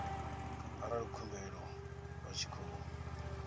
arali khumbelo vha tshi khou